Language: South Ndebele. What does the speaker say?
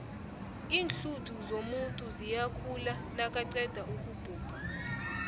iinlhuthu zomuntu ziyakhula nakaqeda ukubhubha